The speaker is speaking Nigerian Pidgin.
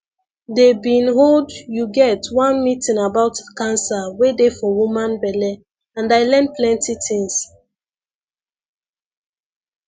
dey bin hold you get one meeting about cancer wey dey for woman belle and i learn plenty things